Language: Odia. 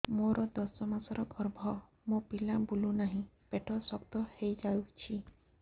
ମୋର ଦଶ ମାସର ଗର୍ଭ ମୋ ପିଲା ବୁଲୁ ନାହିଁ ପେଟ ଶକ୍ତ ହେଇଯାଉଛି